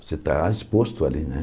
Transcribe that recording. Você está exposto ali, né?